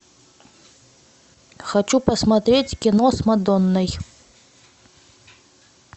хочу посмотреть кино с мадонной